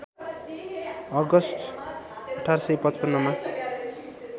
August १८५५ मा